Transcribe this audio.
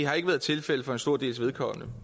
hertil